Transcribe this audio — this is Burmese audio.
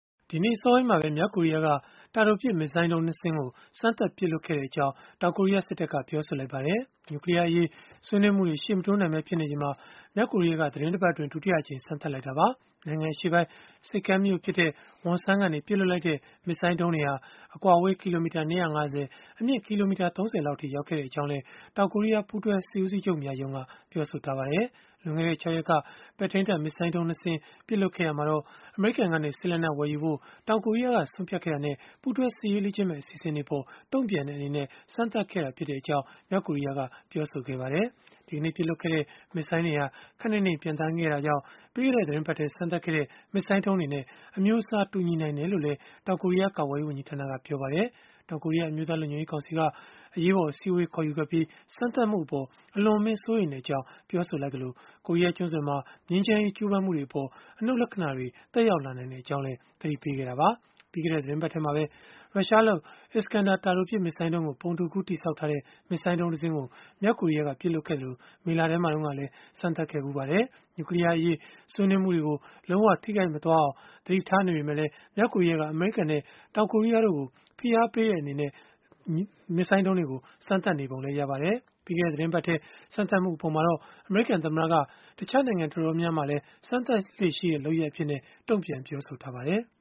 ဒီနေ့အစောပိုင်းမှာပဲ မြောက်ကိုရီးယားက တာတိုပစ် မစ်ဇိုင်းဒုံး ၂ စင်းကို စမ်းသပ်ပစ်လွှတ်ခဲ့ကြောင်း တောင်ကိုရီးယား စစ်တပ်က ပြောဆိုလိုက်ပါတယ်။ နျူကလီးယားအရေး ဆွေးနွေးမှုတွေ ရှေ့မတိုးနိုင်ပဲနေချိန်မှာ မြောက်ကိုရီးယားက သီတင်းတပတ်အတွင်း ဒုတိယအကြိမ် စမ်းသပ်လိုက်တာပါ။ နိုင်ငံအရှေ့ပိုင်း ဆိပ်ကမ်းမြို့ဖြစ်တဲ့ Wonsan ကနေ ပစ်လွှတ်လိုက်တဲ့ မစ်ဇိုင်းဒုံး တွေဟာ အကွာအဝေး ကီလိုမီတာ ၂၅၀၊ အမြင့်ကီလိုမီတာ ၃၀ လောက်အထိ ရောက်ခဲ့ကြောင်းလည်း တောင်ကိုရီးယား ပူးတွဲစစ်ဦးစီးချုပ်များရုံးက ပြောပါတယ်။ လွန်ခဲ့တဲ့ ၆ ရက်က ပဲ့ထိန်းတပ်မစ်ဇိုင်းဒုံး ၂ စင်း ပစ်လွှတ်ခဲ့ရာမှာတော့ အမေရိကန်ကနေ စစ်လက်နက် ဝယ်ယူဖို့ တောင်ကိုရီးယားက ဆုံးဖြတ်ခဲ့တာနဲ့ ပူးတွဲစစ်ရေး လေ့ကျင့်မယ့် အစီအစဉ်တွေအပေါ် တုံ့ပြန်တဲ့ အနေနဲ့ စမ်းသပ်ခဲ့တာ ဖြစ်ကြောင်း မြောက်ကိုရီးယားက ပြောဆိုထားပါတယ်။ ဒီကနေ့ ပစ်လွှတ်ခဲ့တဲ့ မစ်ဇိုင်းတွေဟာ ခပ်နိမ့်နိမ့် ပျံသန်းခဲ့တာကြောင့် ပြီးခဲ့တဲ့ သီတင်းပတ်ထဲ စမ်းသပ်ခဲ့တဲ့ မစ်ဇိုင်းဒုံးတွေနဲ့ အမျိုးအစား တူညီနိုင်တယ်လို့လည်း တောင်ကိုရီးယား ကာကွယ်ရေးဝန်ကြီးဌာနက ပြောပါတယ်။ တောင်ကိုရီးယား အမျိုးသား လုံခြုံရေး ကောင်စီက အရေးပေါ် အစည်းအဝေး ခေါ်ယူခဲ့ပြီး စမ်းသပ်မှုအပေါ် အလွန်အမင်း စိုးရိမ်ကြောင်း ပြောဆိုခဲ့သလို၊ ကိုရီးယားကျွန်းဆွယ်မှာ ငြိမ်းချမ်းရေး ကြိုးပမ်းမှုတွေအပေါ် အနုတ်လက္ခဏာတွေ သက်ရောက် လာနိုင်ကြောင်းလည်း သတိပေးခဲ့တာပါ။ ပြီးခဲ့တဲ့ သီတင်းပတ်ထဲမှာပဲ ရုရှားလုပ် Iskander တာတိုပစ် မစ်ဇိုင်းကို ပုံတူကူး တည်ဆောက်ထားတဲ့ မစ်ဇိုင်းဒုံးတစင်းကို မြောက်ကိုရီးယားက ပစ်လွှတ်ခဲ့သလို မေလထဲမှာလည်း စမ်းသပ်ခဲ့ပါတယ်။ နျူကလီးယားအရေး ဆွေးနွေးမှုတွေကို လုံးဝထိခိုက်မသွားအောင် သတိထားနေပေမဲ့ မြောက်ကိုရီးယားက အမေရိကန်နဲ့ တောင်ကိုရီးယားတို့ကို ဖိအားပေးတဲ့အနေနဲ့ စမ်းသပ်နေပုံရပါတယ်။ ပြီးခဲ့တဲ့ သီတင်းပတ်ထဲ စမ်းသပ်မှု အပေါ်မှာတော့ အမေရိကန်သမ္မတက တခြားနိုင်ငံ တော်တော်များများလည်း စမ်းသပ်လေ့ ရှိတဲ့လုပ်ရပ်အဖြစ် တုံ့ပြန်ပြောဆိုထားပါတယ်။